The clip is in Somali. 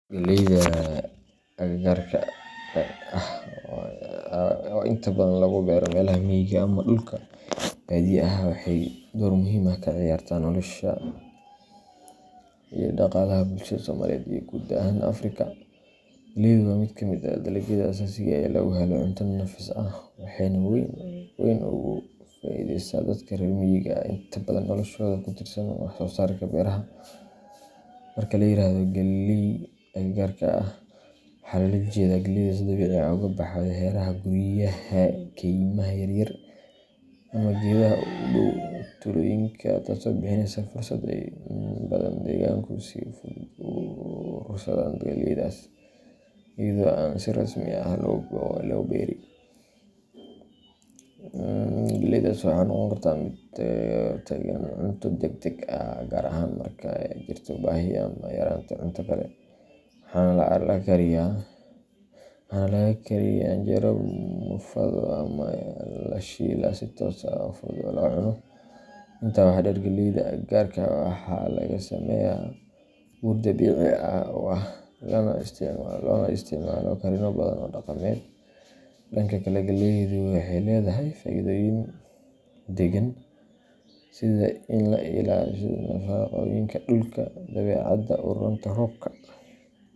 Galleyda agagaarka ah, oo inta badan lagu beero meelaha miyiga ah ama dhulka baadiyaha ah, waxay door muhiim ah ka ciyaartaa nolosha iyo dhaqaalaha bulshada Soomaaliyeed iyo guud ahaan Afrika. Galleydu waa mid ka mid ah dalagyada aasaasiga ah ee laga helo cunto nafis leh, waxayna si weyn ugu faa’iideysaa dadka reer miyiga ah oo inta badan noloshooda ku tiirsan wax soo saarka beeraha. Marka la yiraahdo "galley agagaarka ah," waxaa loola jeedaa galleyda si dabiici ah uga baxda hareeraha guryaha, kaymaha yar yar, ama geedaha u dhow tuulooyinka, taasoo bixinaysa fursad ah in dadka degaanku si fudud u urursadaan galleydaas iyada oo aan si rasmi ah loo beeri. Galleydaas waxay noqon kartaa mid u taagan cunto degdeg ah, gaar ahaan marka ay jirto baahi ama yaraanta cunto kale, waxaana laga kariyaa canjeero, muufado, ama la shiilaa si toos ah oo fudud loo cuno. Intaa waxaa dheer, galleyda agagaarka ah waxaa laga sameeyaa bur si dabiici ah u ah, loona isticmaalo karinno badan oo dhaqameed. Dhanka kale, galleydu waxay leedahay faa’iidooyin deegaan sida in ay ilaaliso nafaqooyinka dhulka, dabeecadda u roonta roobka.